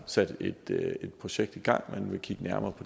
sat et projekt i gang og man vil kigge nærmere